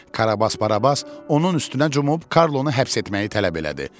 Karabas Barabas onun üstünə cumub Karlonu həbs etməyi tələb elədi.